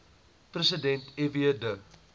president fw de